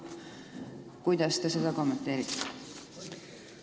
Kuidas te seda kommenteerite?